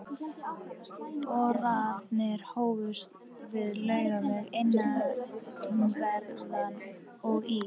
Boranir hófust við Laugaveg innanverðan og í